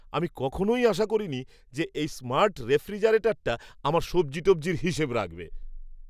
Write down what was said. আমি কখনই আশা করিনি যে এই স্মার্ট রেফ্রিজারেটরটা আমার সবজি টবজির হিসেব রাখবে।